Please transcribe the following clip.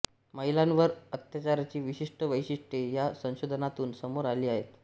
महिलांवरील अत्याचाराची विशिष्ट वैशिष्ट्ये या संशोधनातून समोर आली आहेत